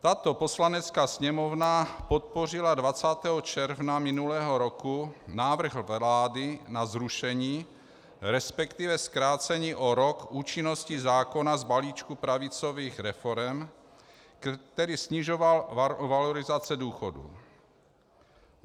Tato Poslanecká sněmovna podpořila 20. června minulého roku návrh vlády na zrušení, respektive zkrácení o rok účinnosti zákona z balíčku pravicových reforem, který snižoval valorizace důchodů.